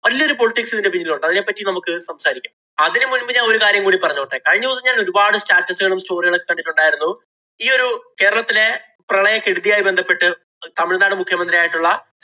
വല്യൊരു politics ഇതിന്‍റെ പിന്നിലുണ്ട്. അതിനെ പറ്റി നമ്മക്ക് സംസാരിക്കാം. അതിനു മുൻപ് ഞാന്‍ ഒരു കാര്യം കൂടി പറഞ്ഞോട്ടെ. കഴിഞ്ഞ ദിവസം ഞാന്‍ ഒരുപാട് status ഉകളും, story കളും ഒക്കെ കണ്ടിട്ടുണ്ടായിരുന്നു. ഈയൊരു കേരളത്തിലെ പ്രളയകെടുതിയുമായി ബന്ധപ്പെട്ട് തമിഴ്നാട് മുഖ്യമന്ത്രിയായിട്ടുള്ള